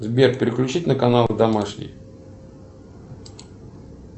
сбер переключить на канал домашний